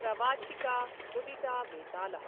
प्रवाचिका मुदिता वेताल: